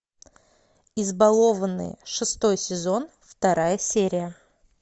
избалованные шестой сезон вторая серия